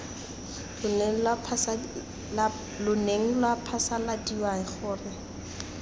lo neng lwa phasaladiwa gore